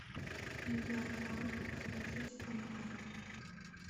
левиафан смотреть онлайн